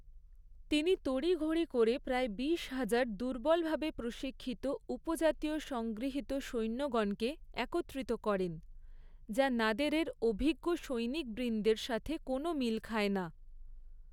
তিনি তড়িঘড়ি করে প্রায় বিশ হাজার দুর্বলভাবে প্রশিক্ষিত উপজাতীয় সংগৃহীত সৈন্যগণকে একত্রিত করেন, যা নাদেরের অভিজ্ঞ সৈনিকবৃন্দের সাথে কোনও মিল খায় না।